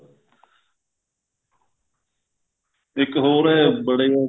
ਇੱਕ ਹੋਰ ਹੈ ਬੜੇ